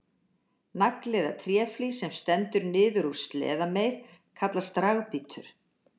Nagli eða tréflís sem stendur niður úr sleðameið kallast dragbítur.